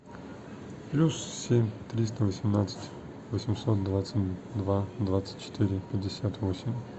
плюс семь триста восемнадцать восемьсот двадцать два двадцать четыре пятьдесят восемь